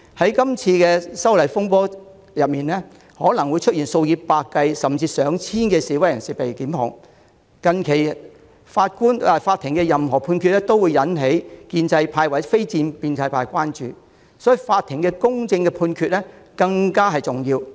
在這次修例風波中，數以百計甚至上千計示威人士可能會被檢控，近期法庭作出的判決均會引起建制派或非建制派關注，所以，法庭作出公正判決更為重要。